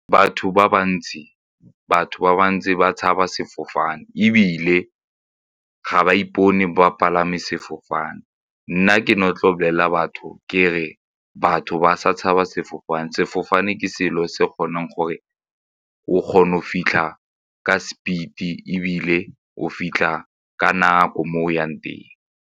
Batho ba bantsi, batho ba bantsi ba tshaba sefofane ebile ga ba ipone ba palame sefofane. Nna ke ne tlo bolelela batho ke re batho ba sa tshabe sefofane. Sefofane ke selo se kgoneng gore o kgone go fitlha ka speed e ebile o fitlha ka nako mo o yang teng.